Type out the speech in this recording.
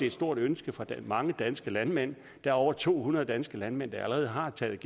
et stort ønske fra mange danske landmænd der er over to hundrede danske landmænd der allerede har taget